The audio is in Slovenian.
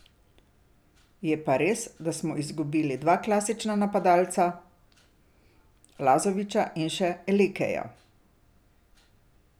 Je pa res, da smo izgubili dva klasična napadalca, Lazovića in še Elekeja.